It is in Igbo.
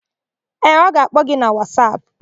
Ee, ọ ga-akpọ gi na Wasapụ.